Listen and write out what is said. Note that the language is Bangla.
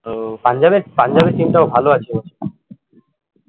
ও পাঞ্জাবের পাঞ্জাবের team টাও ভালো আছে